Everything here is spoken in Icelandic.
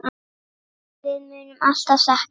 Við munum alltaf sakna hans.